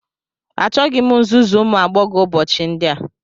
Achọghị m nzuzu ụmụ agbọghọ ụbọchị ndị a